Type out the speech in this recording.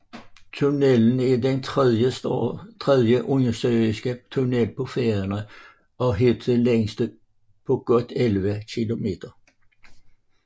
Eysturoyartunnilin er den tredje undersøiske tunnel på Færøerne og den hidtil længste på godt elleve kilometer